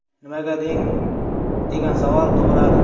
Nimaga degan savol tug‘iladi.